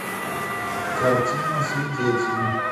картина свидетели